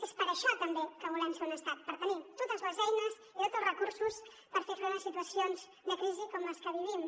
és per això també que volem ser un estat per tenir totes les eines i tots els recursos per fer front a situacions de crisi com les que vivim